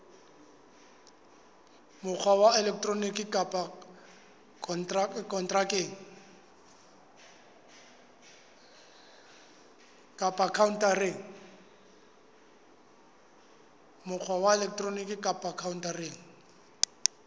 mokgwa wa elektroniki kapa khaontareng